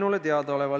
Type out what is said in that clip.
Jürgen Ligi, palun!